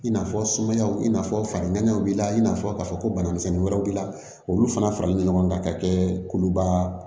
I n'a fɔ sumayaw i n'a fɔ farankanw b'i la i n'a fɔ k'a fɔ ko bana misɛnnin wɛrɛw b'i la olu fana faralen don ɲɔgɔn kan ka kɛ kuluba